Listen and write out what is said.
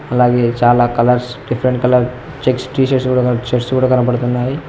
అలాగే చాలా colours different colour checks T shirts కూడా శేర్ట్స్ కనపడుతున్నాయి.